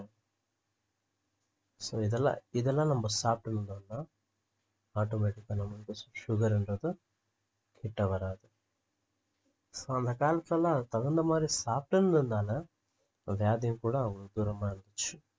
so இதெல்லாம் இதெல்லாம் நம்ப சாப்பிட்டுருந்தோம்னா automatic ஆ நம்மளுக்கு ஷ்~ sugar ருன்றது கிட்ட வராது so அந்த காலத்டதுல எல்லாம் அதுக்கு தகுந்த மாதிரி சாப்பிட்டிருந்தனால வியாதியும் கூட அவங்களுக்கு தூரமா இருந்துச்சு